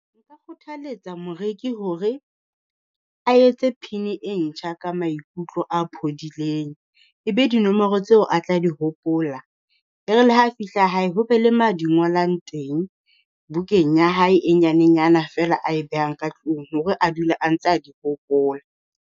Nka kgothaletsa moreki hore a etse pin-e ntjha ka maikutlo a phodileng. E be dinomoro tseo a tla di hopola, e re le ha fihla hae ho be le ma di ngolang teng. Bukeng ya hae e nyane nyana feela ae behang ka tlung hore a dula a ntse a di hopola.